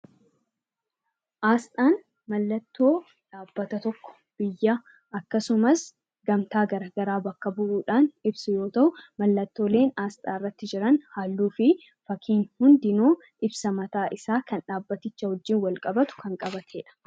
Asxaan mallattoo dhaabbata tokko ibsu akkasumas gamtaa garaagaraa bakka bu'uudhaan ibsu yoo ta'u, mallattoolee asxaa irratti jiran halluuwwan fakkiin hundinuu ibsa mataasaa kan dhaabbaticha wajjin walqabatedha.